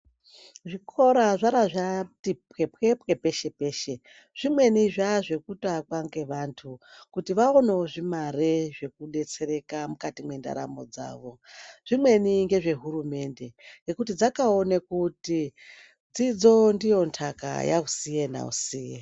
Zvikora zvarati pwepwepwe peshe peshe. Zvimweni zvatazvekuto akwa ngevantu kuti vaonewo zvimare zvekudetsereka mukati mwendaramo dzavo. Zvikweni ngezvehurumende ngekuti dzakaone kuti dzidzo ndiyo ntaka yausiye nausiye.